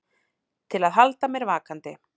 Til að halda mér vakandi.